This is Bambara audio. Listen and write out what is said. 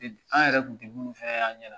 An yɛrɛ tun tɛ minnu fana ye an ɲɛna